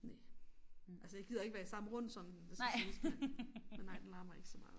Næ altså jeg gider ikke være i samme rund som den det skal siges men men nej den larmer ikke så meget